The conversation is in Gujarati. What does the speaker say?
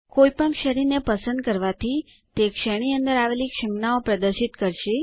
કોઈપણ શ્રેણીને પસંદ કરવાથી તે શ્રેણી અંદર આવેલી સંજ્ઞાઓ પ્રદર્શિત કરશે